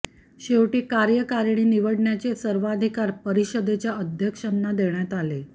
शेवटी कार्यकारिणी निवडण्याचे सर्वाधिकार परिषदेच्या अध्यक्षांना देण्यात आले